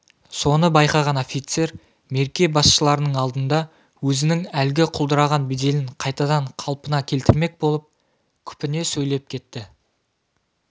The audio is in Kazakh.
соны байқаған офицер мерке басшыларының алдында өзінің әлгі құлдыраған беделін қайтадан қалпына келтірмек болып күпіне сөйлеп кетті